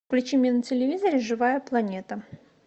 включи мне на телевизоре живая планета